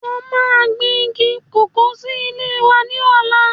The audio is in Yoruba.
Mo ma gbìn igi kòkó sí ilé wa ní ọ̀la